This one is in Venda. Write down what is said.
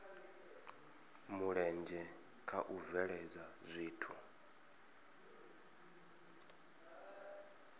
mulenzhe kha u bveledza zwithu